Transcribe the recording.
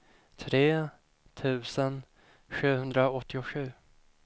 tre tusen sjuhundraåttiosju